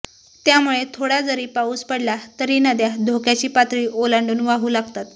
त्यामुळे थोडा जरी पाऊस पडला तरी नद्या धोक्याची पातळी ओलांडून वाहू लागतात